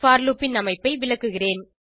போர் loop ன் அமைப்பை விளக்குகிறேன்